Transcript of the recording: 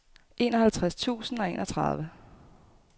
enoghalvtreds tusind og enogtredive